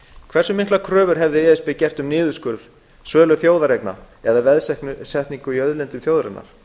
hversu miklar kröfur hefði e s b gert um niðurskurð sölu þjóðareigna eða veðsetningu í auðlindum þjóðarinnar